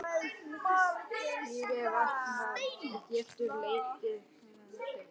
Slík vanræksla getur leitt til bótaábyrgðar fyrir þá.